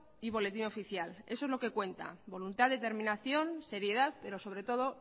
y boletín oficial eso es lo que cuenta voluntad determinación seriedad pero sobre todo